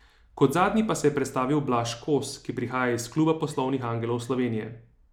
Kot zadnji pa se je predstavil Blaž Kos, ki prihaja iz Kluba poslovnih angelov Slovenije.